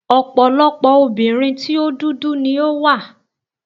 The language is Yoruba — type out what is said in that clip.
Ọ̀pọ̀lọpọ̀ obìnrin tí o dúdú ni ó wà.